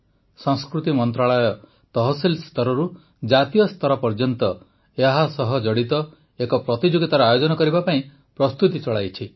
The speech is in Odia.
ସଂସ୍କୃତି ମନ୍ତ୍ରଣାଳୟ ତହସିଲ ସ୍ତରରୁ ଜାତୀୟ ସ୍ତର ପର୍ଯ୍ୟନ୍ତ ଏହାସହ ଜଡ଼ିତ ଏକ ପ୍ରତିଯୋଗିତାର ଆୟୋଜନ କରିବା ପାଇଁ ପ୍ରସ୍ତୁତି ଚଳାଇଛି